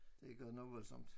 Det er godt nok voldsomt